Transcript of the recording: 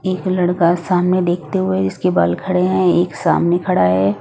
एक लड़का सामने देखते हुए इसके बाल खड़े हैं एक सामने खड़ा है।